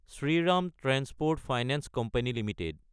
Shriram transport finance company Ltd